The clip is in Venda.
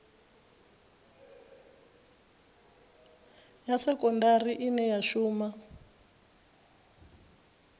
ya sekondari ine ya shuma